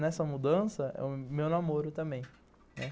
Nessa mudança, meu namoro também, né.